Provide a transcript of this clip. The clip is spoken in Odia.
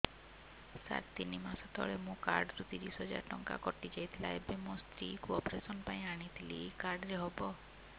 ସାର ତିନି ମାସ ତଳେ ମୋ କାର୍ଡ ରୁ ତିରିଶ ହଜାର ଟଙ୍କା କଟିଯାଇଥିଲା ଏବେ ମୋ ସ୍ତ୍ରୀ କୁ ଅପେରସନ ପାଇଁ ଆଣିଥିଲି ଏଇ କାର୍ଡ ରେ ହବ